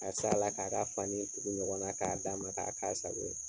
Ka s'a la k'a ka fani kuru ɲɔgɔn na k'a d'a ma k'a k'a sago ye.